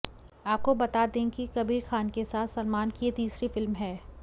आपको बता दें कि कबीर खान के साथ सलमान की यह तीसरी फिल्म है